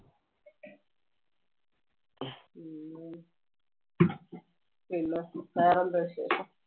പിന്നെ വേറെ എന്തുവാ വിശേഷം.